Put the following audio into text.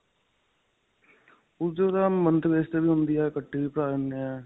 ਉਸਦੀ month base ਤੇ ਵੀ ਹੁੰਦੀ ਹੈ ਇੱਕਠੀ ਵੀ ਭਰਾ ਦੇਣੇ ਹੈ.